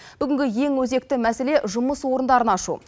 бүгінгі ең өзекті мәселе жұмыс орындарын ашу